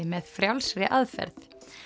með frjálsri aðferð